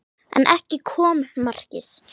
En ekki kom markið.